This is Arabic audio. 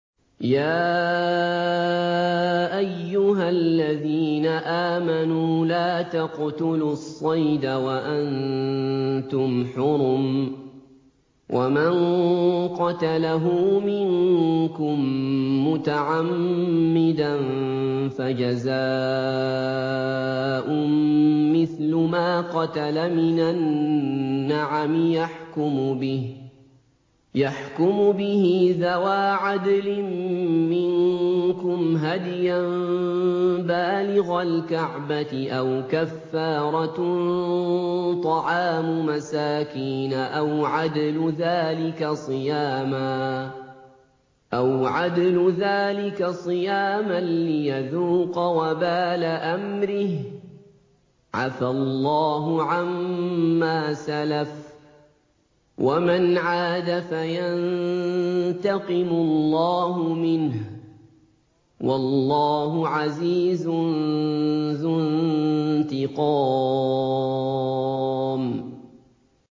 يَا أَيُّهَا الَّذِينَ آمَنُوا لَا تَقْتُلُوا الصَّيْدَ وَأَنتُمْ حُرُمٌ ۚ وَمَن قَتَلَهُ مِنكُم مُّتَعَمِّدًا فَجَزَاءٌ مِّثْلُ مَا قَتَلَ مِنَ النَّعَمِ يَحْكُمُ بِهِ ذَوَا عَدْلٍ مِّنكُمْ هَدْيًا بَالِغَ الْكَعْبَةِ أَوْ كَفَّارَةٌ طَعَامُ مَسَاكِينَ أَوْ عَدْلُ ذَٰلِكَ صِيَامًا لِّيَذُوقَ وَبَالَ أَمْرِهِ ۗ عَفَا اللَّهُ عَمَّا سَلَفَ ۚ وَمَنْ عَادَ فَيَنتَقِمُ اللَّهُ مِنْهُ ۗ وَاللَّهُ عَزِيزٌ ذُو انتِقَامٍ